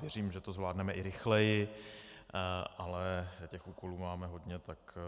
Věřím, že to zvládneme i rychleji, ale těch úkolů máme hodně, tak